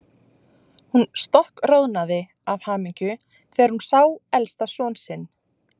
Hún stokkroðnaði af hamingju þegar hún sá elsta son sinn.